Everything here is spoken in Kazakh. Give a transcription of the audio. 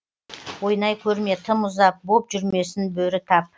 ойнай көрме тым ұзап боп жүрмесін бөрі тап